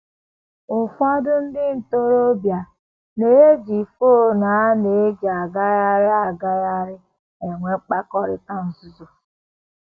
Ụfọdụ ndị ntorobịa na - eji fon a na - eji agagharị agagharị enwe mkpakọrịta nzuzo